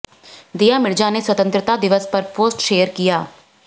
दीया मिर्जा ने स्वतंत्रता दिवस पर पोस्ट शेयर किया